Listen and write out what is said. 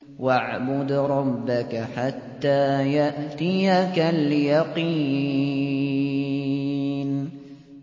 وَاعْبُدْ رَبَّكَ حَتَّىٰ يَأْتِيَكَ الْيَقِينُ